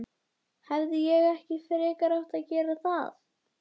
Hefði ég ekki frekar átt að gera það?